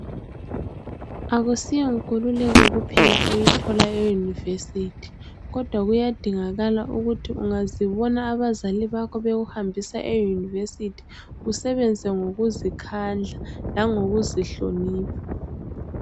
Akusiyo nkululeko kuphela oyithola e university, kodwa kuyadingakala ukuthi ungazibona abazali bakho bekuhambisa e university, usebenze ngokuzikhandla, langokuzihlonipha.